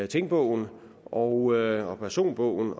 tingbogen og personbogen